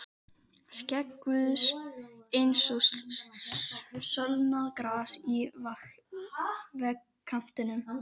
Skegg Guðs eins og sölnað gras í vegkantinum.